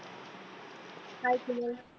hi Subodh